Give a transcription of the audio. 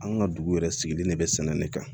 An ka dugu yɛrɛ sigilen de bɛ sɛnɛ ne kan